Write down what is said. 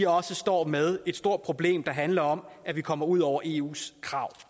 også står med det store problem der handler om at vi kommer ud over eus krav